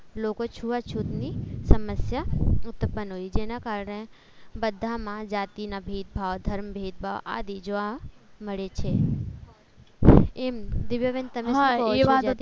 લોકોએ છૂત અછૂત ને સમસ્યા ઉત્પન્ન થઈ જેના કારણે બધામાં જાતિના ભેદભાવ ધર્મ ભેદભાવ આદિ જેવા જોવા મળે છે એમ તમે દિવ્યા બેન સુ કો છો?